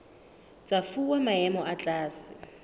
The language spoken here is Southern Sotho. tsa fuwa maemo a tlase